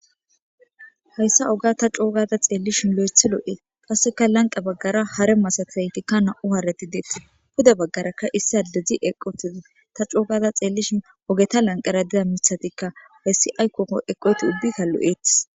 Hayssa oga ta coo gada xeellishin loythi loo7ee. Qasseka lanqqe baggaara hare masataytikka na7u haareti dee. Pude baggarakka issi addezi eqqi utize ta coo gada xeellishin ogeta lanqqera diza mithatikka hessi aykkoko eqqida ubbika lo7eettes.